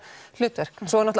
hlutverk og svo